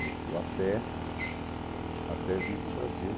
meu tio, até até vir para o Brasil.